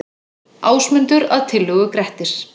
Ásmundur, að tillögu Grettis.